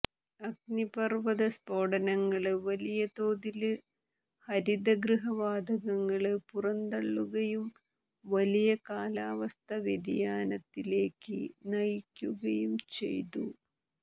അഗ്നിപര്വ്വത സ്ഫോടനങ്ങള് വലിയ തോതില് ഹരിതഗൃഹ വാതകങ്ങള് പുറന്തള്ളുകയും വലിയ കാലാവസ്ഥാ വ്യതിയാനത്തിലേക്ക് നയിക്കുകയും ചെയ്തു